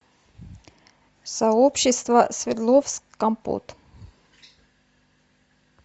сообщество свердловск компот